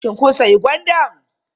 Shin kun sayi gwandan?